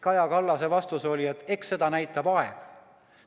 Kaja Kallase vastus oli, et eks seda näitab aeg.